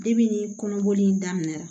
Depi ni kɔnɔboli in daminɛna